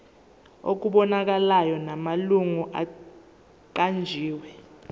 okubonakalayo namalungu aqanjiwe